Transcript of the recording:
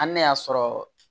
Hali ne y'a sɔrɔ